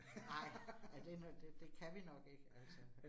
Nej. Ja, det, det kan vi nok ikke altså